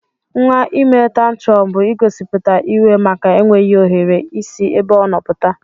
Nwa ime tantrọn bu igosiputa iwe maka enweghi ohere isi ebe ọno pụta.